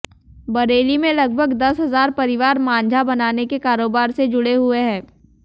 बरेली में लगभग दस हजार परिवार मांझा बनाने के कारोबार से जुड़े हुए हैं